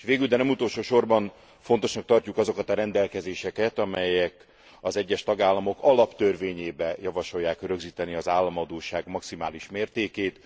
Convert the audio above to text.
S végül, de nem utolsósorban fontosnak tartjuk azokat a rendelkezéseket, amelyek az egyes tagállamok alaptörvényébe javasolják rögzíteni az államadósság maximális mértékét.